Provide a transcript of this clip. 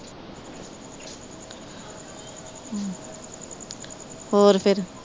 ਹੋਰ ਫੇਰ